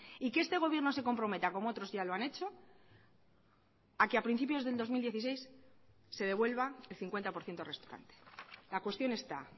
y que este gobierno se comprometa como otros ya lo han hecho a que a principios del dos mil dieciséis se devuelva el cincuenta por ciento restante la cuestión está